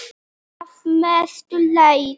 Að mestu leyti